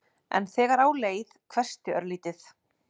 En þegar á leið hvessti örlítið.